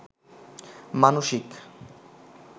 মানসিক